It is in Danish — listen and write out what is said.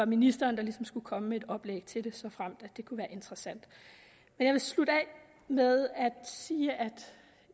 ministeren skulle komme med et oplæg til det såfremt det kunne være interessant jeg vil slutte af med at sige at